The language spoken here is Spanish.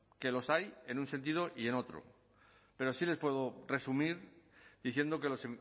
que los hay en un sentido y en otro pero sí les puedo resumir diciendo que los